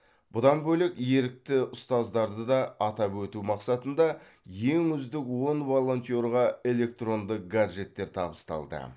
бұдан бөлек ерікті ұстаздарды да атап өту мақсатында ең үздік он волонтерға электронды гаджеттер табысталды